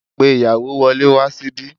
Pe ìyàwó wọlé wá síbí